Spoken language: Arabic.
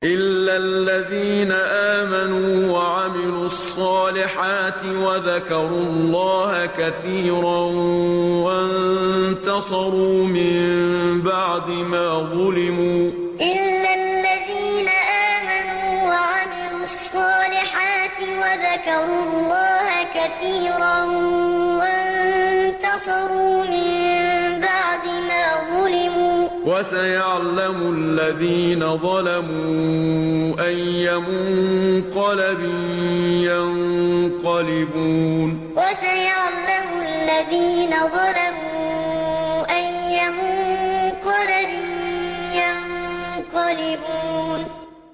إِلَّا الَّذِينَ آمَنُوا وَعَمِلُوا الصَّالِحَاتِ وَذَكَرُوا اللَّهَ كَثِيرًا وَانتَصَرُوا مِن بَعْدِ مَا ظُلِمُوا ۗ وَسَيَعْلَمُ الَّذِينَ ظَلَمُوا أَيَّ مُنقَلَبٍ يَنقَلِبُونَ إِلَّا الَّذِينَ آمَنُوا وَعَمِلُوا الصَّالِحَاتِ وَذَكَرُوا اللَّهَ كَثِيرًا وَانتَصَرُوا مِن بَعْدِ مَا ظُلِمُوا ۗ وَسَيَعْلَمُ الَّذِينَ ظَلَمُوا أَيَّ مُنقَلَبٍ يَنقَلِبُونَ